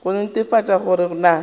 go netefatša gore go na